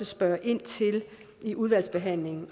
spørge ind til i udvalgsbehandlingen